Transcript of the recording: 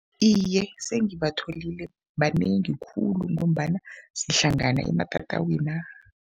Iye, sengibatholile. Banengi khulu ngombana sihlangana ematatawina.